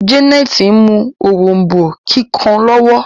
Janet mú òrombó kíkàn lowo.